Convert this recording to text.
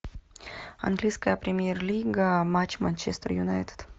английская премьер лига матч манчестер юнайтед